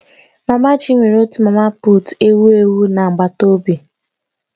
Mama Chi nwere otu mama puut ewu ewu na agbataobi